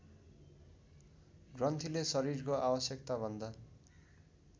ग्रन्थीले शरीरको आवश्यकताभन्दा